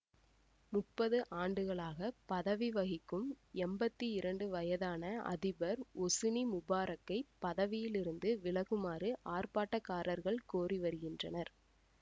முப்பது ஆண்டுகளாகப் பதவி வகிக்கும் எம்பத்தி இரண்டு வயதான அதிபர் ஒசுனி முபாரக்கைப் பதவியில் இருந்து விலகுமாறு ஆர்ப்பாட்டக்காரர்கள் கோரி வருகின்றனர்